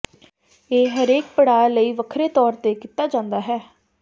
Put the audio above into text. ਇਹ ਹਰੇਕ ਪੜਾਅ ਲਈ ਵੱਖਰੇ ਤੌਰ ਤੇ ਕੀਤਾ ਜਾਂਦਾ ਹੈ